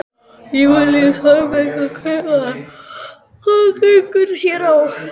Júlíus Þorbergsson, kaupmaður: Hvað gengur hér á?